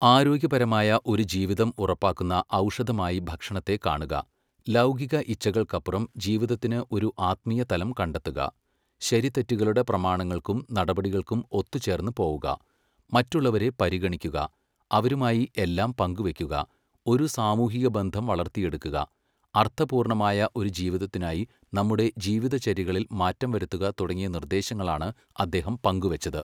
ആരോഗ്യപരമായ ഒരു ജീവിതം ഉറപ്പാക്കുന്ന ഔഷധമായി ഭക്ഷണത്തെ കാണുക, ലൗകിക ഇച്ഛകൾക്കപ്പുറം ജീവിതത്തിന് ഒരു ആത്മീയ തലം കണ്ടെത്തുക, ശരിതെറ്റുകളുടെ പ്രമാണങ്ങൾക്കും നടപടികൾക്കും ഒത്തുചേർന്നു പോവുക, മറ്റുള്ളവരെ പരിഗണിക്കുക അവരുമായി എല്ലാം പങ്കു വയ്ക്കുക, ഒരു സാമൂഹിക ബന്ധം വളർത്തിയെടുക്കുക, അർത്ഥപൂർണ്ണമായ ഒരു ജീവിതത്തിനായി നമ്മുടെ ജീവിതചര്യകളിൽ മാറ്റം വരുത്തുക തുടങ്ങിയ നിർദേശങ്ങളാണ് അദ്ദേഹം പങ്കുവെച്ചത്.